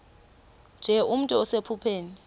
nje nomntu osephupheni